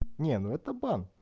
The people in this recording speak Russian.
не ну это бан